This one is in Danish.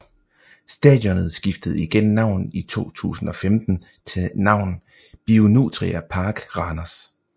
Stadionet skiftede igen navn i 2015 til navn BioNutria Park Randers